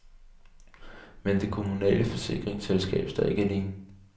Men det kommunale forsikringsselskab står ikke alene.